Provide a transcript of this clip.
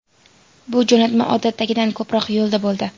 Bu jo‘natma odatdagidan ko‘proq yo‘lda bo‘ldi.